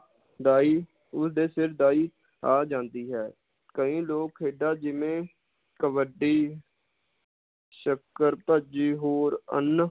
ਦਾਈ ਉਸਦੇ ਸਿਰ ਦਾਈ ਆ ਜਾਂਦੀ ਹੈ ਕਈ ਲੋਗ ਖੇਡਾਂ ਜਿਵੇ ਕਬੱਡੀ ਸ਼ੱਕਰ ਭੱਜੀ ਹੋਰ ਅੰਨ,